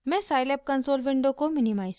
मैं Scilab console window को minimise करुँगी